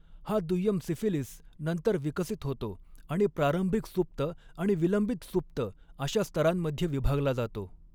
हा दुय्यम सिफिलीस नंतर विकसित होतो आणि प्रारंभिक सुप्त आणि विलंबित सुप्त अशा स्तरांमध्ये विभागला जातो.